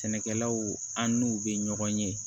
Sɛnɛkɛlaw an n'u bɛ ɲɔgɔn ye